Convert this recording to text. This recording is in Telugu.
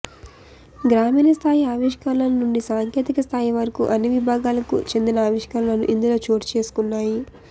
గ్రామీణ స్థాయి ఆవిష్కరణల నుండి సాంకేతిక స్థాయి వరకు అన్ని విభాగాలకు చెందిన ఆవిష్కరణలు ఇందులో చోటు చేసుకున్నాయి